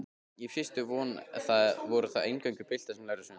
Í fyrstu voru það eingöngu piltar sem lærðu sund.